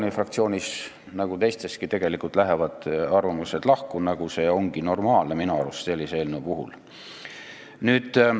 Meie fraktsioonis nagu teisteski lähevad arvamused lahku, mis ongi minu arust sellise eelnõu puhul normaalne.